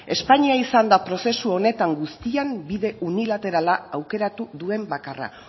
espainia izan da prozesu honetan guztian bide unilaterala aukeratu duen bakarra